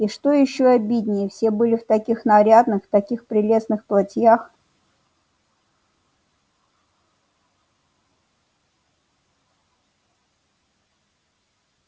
и что ещё обиднее все были в таких нарядных таких прелестных платьях